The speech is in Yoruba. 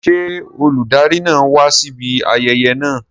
Ṣé olùdarí náà wá síbi ayẹyẹ náà?